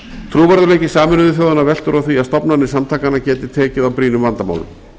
trúverðugleiki sameinuðu þjóðanna veltur á því að stofnanir samtakanna geti tekið á brýnum vandamálum